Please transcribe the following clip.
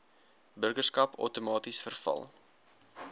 burgerskap outomaties verval